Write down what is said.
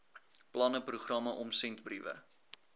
planne programme omsendbriewe